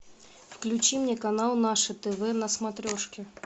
включи мне канал наше тв на смотрешке